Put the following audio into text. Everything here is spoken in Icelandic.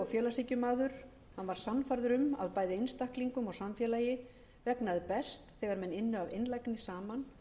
félagshyggjumaður hann var sannfærður um að bæði einstaklingum og samfélagi vegnaði best þegar menn ynnu af einlægni saman að